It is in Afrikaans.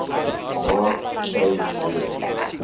maat sou hê